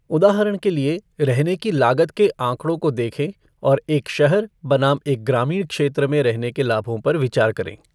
उदाहरण के लिए, रहने की लागत के आंकड़ों को देखें और एक शहर बनाम एक ग्रामीण क्षेत्र में रहने के लाभों पर विचार करें।